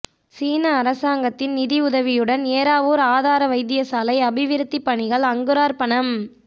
சீன அரசாங்கத்தின் நிதியுதவியுடன் ஏறாவூர் ஆதார வைத்தியசாலை அபிவிருத்திப் பணிகள் அங்குரார்ப்பணம்